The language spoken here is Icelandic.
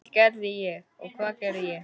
Og hvað gerði ég?